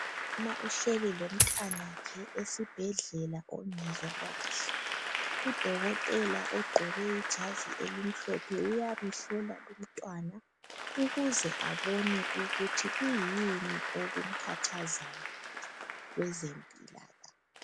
umamauhleli lomntwana wakhe esibhedlela ongezwa kahle udokotela ogqoke ijazi elimhlophe uyamhlola lomntwana ukuze abone ukuthi kuyini okumkhathazayo kwezempila kahle